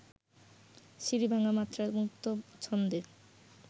সিঁড়ি-ভাঙা মাত্রায় মুক্ত ছন্দে